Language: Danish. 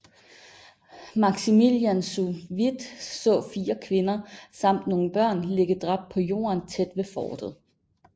Maximilian zu Wied så fire kvinder samt nogle børn ligge dræbt på jorden tæt ved fortet